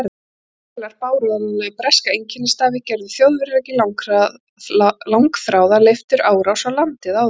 Þær vélar bæru áreiðanlega breska einkennisstafi, gerðu Þjóðverjar ekki langþráða leifturárás á landið áður.